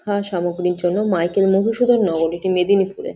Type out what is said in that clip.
শিক্ষা সামগ্রীর জন্য মাইকেল মধুসূদন নগরিকে এই মেদিনীপুর এ ।